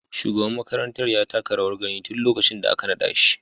Shugaban makarantar ya taka rawar gani tun lokacin da aka nada shi.